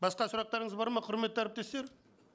басқа сұрақтарыңыз бар ма құрметті әріптестер